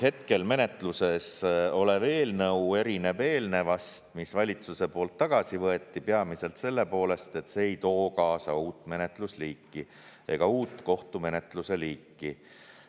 Hetkel menetluses olev eelnõu erineb eelnevast, mis valitsuse poolt tagasi võeti, peamiselt selle poolest, et see ei too kaasa uut menetlusliiki ega uut kohtumenetluse liiki.